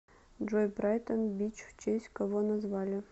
джой брайтон бич в честь кого назвали